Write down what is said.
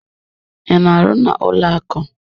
I na-arụ n'ụlọaku?